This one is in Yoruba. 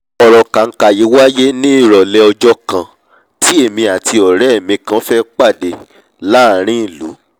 ọ̀rọ̀ kànkà yí wáíyé ní ìrọ̀lẹ́ ọjọ́ kan tí èmi àti ọ̀rẹ́ mi kan fẹ́ pàdé láàrin ìlú